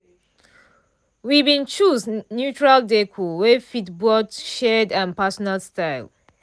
we been choose neutral décor wey fit both shared and personal style